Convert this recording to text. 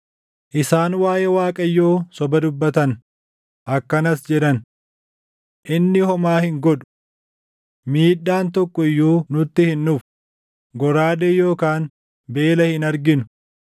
Isaan waaʼee Waaqayyoo soba dubbatan; akkanas jedhan; “Inni homaa hin godhu! Miidhaan tokko iyyuu nutti hin dhufu; goraadee yookaan beela hin arginu.